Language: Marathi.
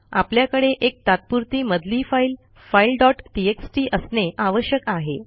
आपल्याकडे एक तात्पुरती मधली फाईल फाइल डॉट टीएक्सटी असणे आवश्यक आहे